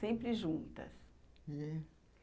Sempre juntas. É.